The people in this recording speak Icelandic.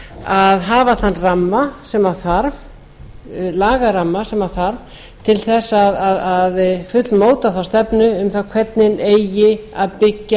að hafa þann lagaramma sem þarf til að fullmóta þá stefnu um hvernig eigi að byggja